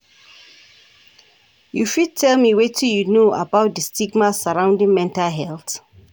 You fit tell me wetin you know about di stigma surrounding mental health?